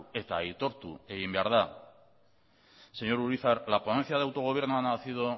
eta aitortu egin behar da señor urizar la ponencia de autogobierno ha nacido